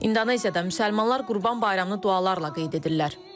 İndoneziyada müsəlmanlar Qurban Bayramını dualarla qeyd edirlər.